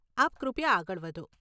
આપ કૃપયા આગળ વધો.